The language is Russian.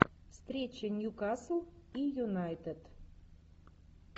встреча ньюкасл и юнайтед